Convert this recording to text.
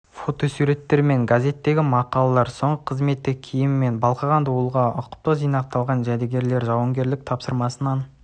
фотосурттер мен газзетегі мақалалар соңғы қызметтік киімі мен балқыған дулыға ұқыпты жинақталған жәдігерлер жауынгерлік тапсырмасынан